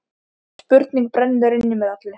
Spurning brennur inn í mér allri.